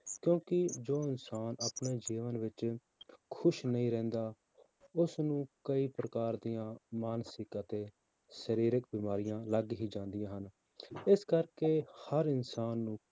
ਕਿਉਂਕਿ ਜੋ ਇਨਸਾਨ ਆਪਣੇ ਜੀਵਨ ਵਿੱਚ ਖ਼ੁਸ਼ ਨਹੀਂ ਰਹਿੰਦਾ, ਉਸਨੂੰ ਕਈ ਪ੍ਰਕਾਰ ਦੀਆਂ ਮਾਨਸਿਕ ਅਤੇ ਸਰੀਰਕ ਬਿਮਾਰੀਆਂ ਲੱਗ ਹੀ ਜਾਂਦੀਆਂ ਹਨ, ਇਸ ਕਰਕੇ ਹਰ ਇਨਸਾਨ ਨੂੰ